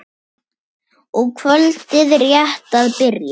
og kvöldið rétt að byrja!